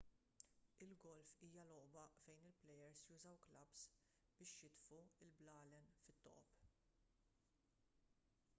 il-golf hija logħba fejn il-plejers jużaw klabbs biex jitfgħu l-blalen fit-toqob